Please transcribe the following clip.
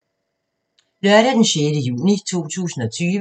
Lørdag d. 6. juni 2020